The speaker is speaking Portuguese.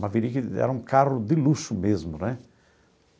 Maverick era um carro de luxo mesmo, né?